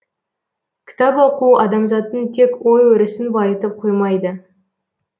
кітап оқу адамзаттың тек ой өрісін байытып қоймайды